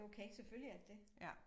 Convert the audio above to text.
Det okay selvfølgelig er det det